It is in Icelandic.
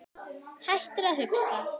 Hættir að hugsa.